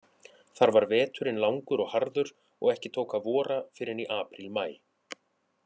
Þar var veturinn langur og harður, og ekki tók að vora fyrr en í apríl-maí.